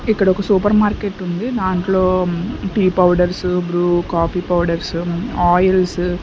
ఇక్కడ ఒక super market ఉంది దాంట్లో tea powders Bru coffee powders oils .